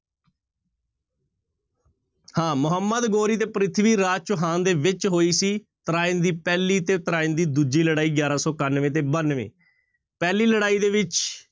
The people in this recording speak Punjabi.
ਹਾਂ ਮੁਹੰਮਦ ਗੋਰੀ ਤੇ ਪ੍ਰਿਥਮੀ ਰਾਜ ਚੌਹਾਨ ਦੇ ਵਿੱਚ ਹੋਈ ਸੀ ਤਰਾਇਣ ਦੀ ਪਹਿਲੀ ਤੇ ਤਰਾਇਣ ਦੀ ਦੂਜੀ ਲੜਾਈ ਗਿਆਰਾਂ ਸੌ ਇਕਾਨਵੇਂ ਤੇ ਬਾਨਵੇਂ, ਪਹਿਲੀ ਲੜਾਈ ਦੇ ਵਿੱਚ